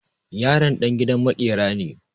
Yaron ɗan gidan maƙera ne.